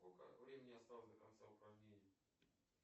сколько времени осталось до конца упражнения